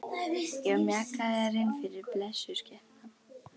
Já, mjakaðu þér innfyrir, blessuð skepnan.